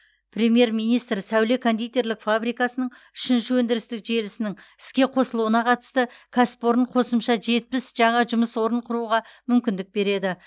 премьер министр сәуле кондитерлік фабрикасының үшінші өндірістік желісінің іске қосылуына қатысты кәсіпорын қосымша жетпіс жаңа жұмыс орнын құруға мүмкіндік береді